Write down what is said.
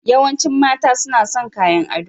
Yawancin mata suna son kayan ado.